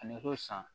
A nɛgɛ san